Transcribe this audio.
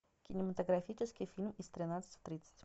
кинематографический фильм из тринадцати в тридцать